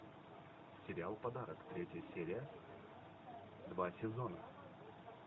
сериал подарок третья серия два сезона